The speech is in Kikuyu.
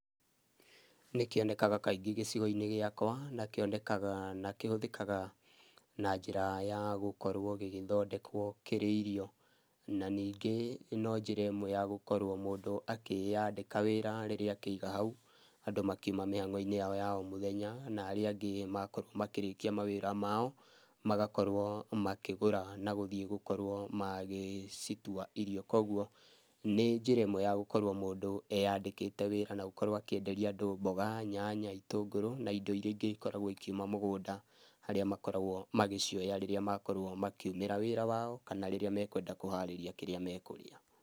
Nĩkĩonekaga kaingĩ gĩcigo-inĩ gĩakwa, na kĩonekaga na kĩhũthĩkaga na njĩra ya gũkorwo gĩgĩthondekwo kĩrĩ irio. Na ningĩ no njĩra ĩmwe ya gũkorũo mũndũ akĩyandĩka wĩra rĩrĩa akĩiga hau andũ makiuma mĩhang'o-inĩ yao ya o mũthenya na arĩa angĩ makorwo marĩkia mawĩra mao magakorwo makĩgũra na gũthiĩ gũkorwo magĩcitua irio, koguo nĩ njĩra ĩmwe ya gũkorwo mũndũ eyandĩkĩte wĩra na gũkorwo akĩenderia andũ mboga, nyanya, itũngũrũ na indo iria ingĩ ikoragũo ikiuma mũgũnda harĩa makoragũo magĩcioya rĩrĩa makorwo makiumĩra wĩra wao kana rĩrĩa mekũenda kũharĩria kĩrĩa mekũrĩa.